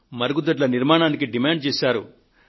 మరుగుదొడ్ల నిర్మాణానికి పట్టుబట్టారు